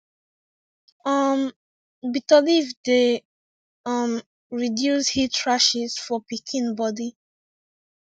um bitter leaf dey um reduce heat rashes for pikin body